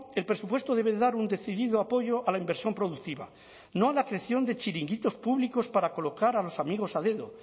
el presupuesto debe de dar un decidido apoyo a la inversión productiva no a la creación de chiringuitos públicos para colocar a los amigos a dedo